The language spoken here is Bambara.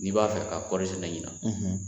N'i b'a fɛ ka kɔɔɔri sɛnɛ ɲina